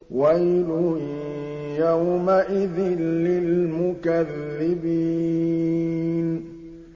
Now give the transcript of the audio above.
وَيْلٌ يَوْمَئِذٍ لِّلْمُكَذِّبِينَ